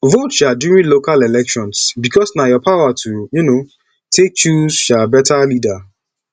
vote um during local election bikos na yur power to um take choose um beta leader